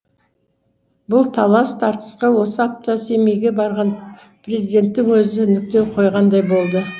бұл талас тартысқа осы апта семейге барған президенттің өзі нүкте қойғандай болды